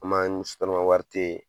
An ma n SOTRAMA wari te